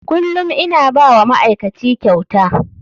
Kullum ina ba wa ma'aikaci kyauta.